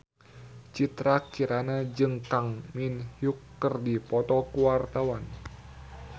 Citra Kirana jeung Kang Min Hyuk keur dipoto ku wartawan